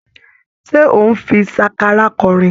Ṣé ò ń fi sákárà kọrin?